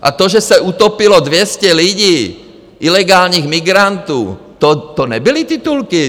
A to, že se utopilo 200 lidí, ilegálních migrantů, to nebyly titulky?